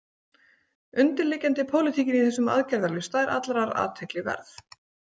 Undirliggjandi pólitíkin í þessum aðgerðalista er allrar athygli verð.